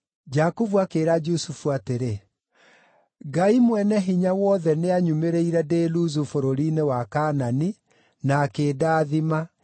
Jakubu akĩĩra Jusufu atĩrĩ, “Ngai Mwene-Hinya-Wothe nĩanyumĩrĩire ndĩ Luzu bũrũri-inĩ wa Kaanani, na akĩndathima,